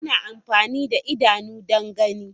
Ana amfani da idanu don gani.